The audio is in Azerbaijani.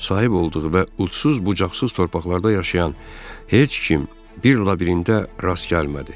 Sahib olduğu və uçsuz bucaqsız torpaqlarda yaşayan heç kim bir labirintə rast gəlmədi.